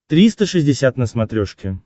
триста шестьдесят на смотрешке